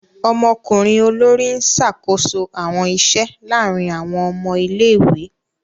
Ọmọkunrin olori n ṣakoso awọn iṣẹ laarin awọn ọmọ ìlé-ìwé.